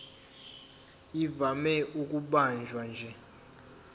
ivame ukubanjwa nje